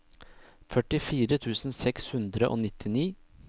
førtifire tusen seks hundre og nittini